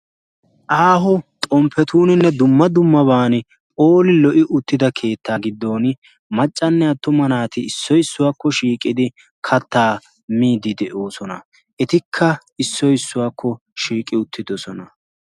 aaho xompetuuninne dumma dummabatun lo'i uttida keetta gidoni, maccanne atuma naati issoy issuwakko shiiqidi kataa miidi de'oosona, etikka issoy issuwakko shiiqi uttidosona.